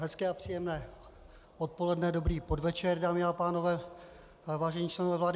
Hezké a příjemné odpoledne, dobrý podvečer, dámy a pánové, vážení členové vlády.